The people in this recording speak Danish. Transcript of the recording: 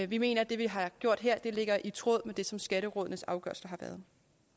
vi mener at det vi har gjort her ligger i tråd med det som skatterådets afgørelser har været